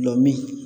Gulɔmin